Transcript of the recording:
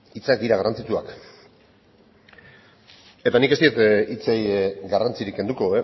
hitzak garrantzitsuak dira eta nik ez diet hitzei garrantzirik kenduko